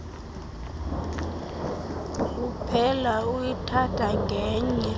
uphela uyithatha ngenye